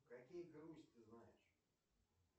какие грусть ты знаешь